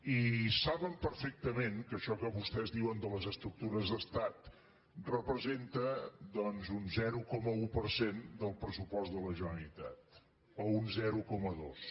i saben perfectament que això que vostès diuen de les estructures d’estat representa doncs un zero coma un per cent del pressupost de la generalitat o un zero coma dos